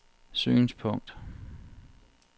synspunkt